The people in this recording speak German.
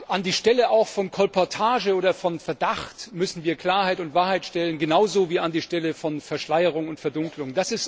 An die Stelle von Kolportage oder Verdacht müssen wir Klarheit und Wahrheit stellen, genauso wie an die Stelle von Verschleierung und Verdunklung.